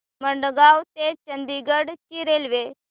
मडगाव ते चंडीगढ ची रेल्वे